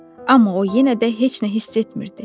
Amma o yenə də heç nə hiss etmirdi.